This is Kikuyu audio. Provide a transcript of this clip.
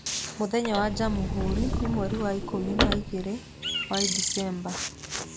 Mũthenya wa Jamhuri nĩ mweri ikũmi na ĩĩrĩ wa Disemba.